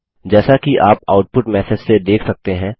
जैसा कि आप आउटपुट मैसेज से देख सकते हैं